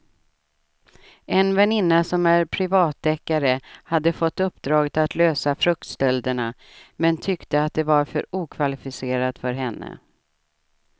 En väninna som är privatdeckare hade fått uppdraget att lösa fruktstölderna men tyckte att det var för okvalificerat för henne.